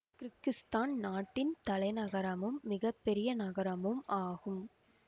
Kyrgyzstan நாட்டின் தலைநகரமும் மிக பெரிய நகரமும் ஆகும்